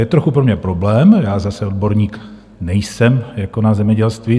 Je trochu pro mě problém - já zase odborník nejsem, jako na zemědělství.